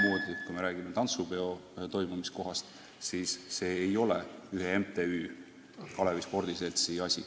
Ja kui me räägime tantsupeo toimumise kohast, siis see ei ole ühe MTÜ, Kalevi spordiseltsi asi.